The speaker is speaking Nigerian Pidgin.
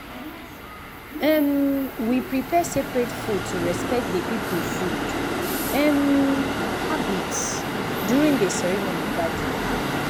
um we prepare separate food to respect dey people food um habits during dey ceremony gathering.